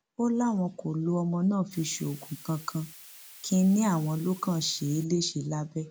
ó láwọn kò lo ọmọ náà fi ṣoògùn kankan kínní àwọn ló kàn ṣe é léṣe lábẹ